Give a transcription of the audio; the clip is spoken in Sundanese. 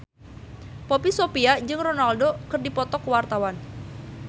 Poppy Sovia jeung Ronaldo keur dipoto ku wartawan